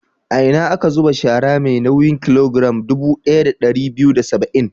A ina aka zuba shara mai nauyin kilogiram dubu ɗaya da ɗari biyu da saba'in?